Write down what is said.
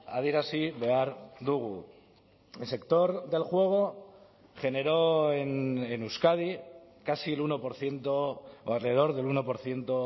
adierazi behar dugu el sector del juego generó en euskadi casi el uno por ciento o alrededor del uno por ciento